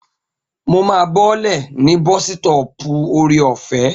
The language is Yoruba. Mo máa bọ́lẹ̀ ní bọ́sítọ̀ọ̀pù Ore-ọ̀fẹ́